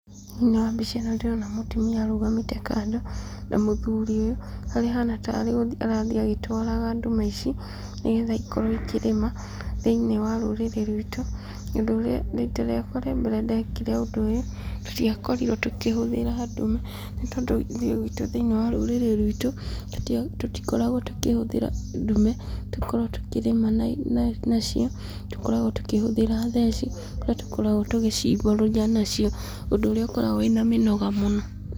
Thĩinĩ wa mbica ĩno ndĩrona mũtumia arũgamĩte kando na mũthuriwe, harĩa ahana tarĩ gũthiĩ arathiĩ agĩtwaraga ndume ici, nĩgetha ikorwo ikĩrĩma, thĩinĩ wa rũrĩrĩ rwitũ, ũndũ ũrĩa rita rĩakwa rĩa mbere ndekire ũndũ ũyũ, tũtiakorirwo tũkĩhũthĩra ndume nĩ tondũ niĩ gwitũ thĩinĩ wa rũrĩrĩ rwitũ, tũtikoragwo tũkĩhũthĩra ndume, tũkoragwo tũkĩrĩma nacio tũkoragwo tũkĩhũthĩra theci kũrĩa tũkoragwo tũgĩcimbũrũria nacio, ũndũ ũrĩa ũkoragwo wĩna mĩnoga mũno.